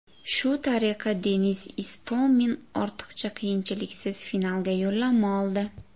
Shu tariqa, Denis Istomin ortiqcha qiyinchiliksiz finalga yo‘llanma oldi.